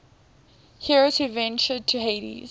heroes who ventured to hades